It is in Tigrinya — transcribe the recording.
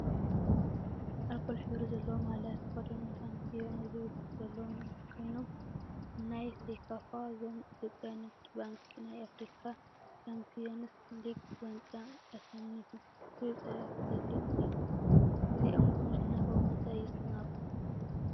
አልኮል ሕብሪ ዘለዎ ማልያ ዝተከደኑ ሻምፒዮኖ ዝብል ፅሑፍ ዘለዎም ኮይኖም፤ ናይ ሴካፋ ዞን ኢትዮጵያ ንግድ ባንኪ ናይ አፍሪካ ሻምፒየንስ ሊግ ዋንጫ አሸኒፉ ዝብል ፅሑፍ ብፀሊም እዩ፡፡ እዚኦም ብምሽናፎም እንታይ ይሰመዐኩም?